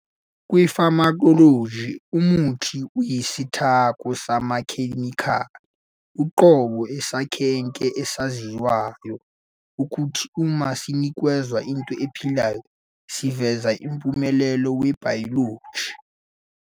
Kwi-pharmacology, umuthi uyisithako samakhemikhali, uqobo esakheke esaziwayo, okuthi, uma sinikezwa into ephilayo, siveze umphumela webhayoloji.